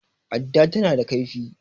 adda tana da laifi